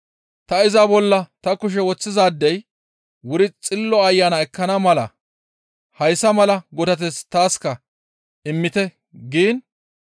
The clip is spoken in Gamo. «Ta iza bolla ta kushe woththizaadey wuri Xillo Ayana ekkana mala hayssa mala godateth taaska immite» giin,